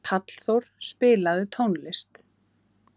Hallþór, spilaðu tónlist.